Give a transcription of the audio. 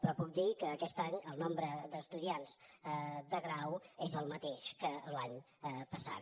però puc dir que aquest any el nombre d’estudiants de grau és el mateix que l’any passat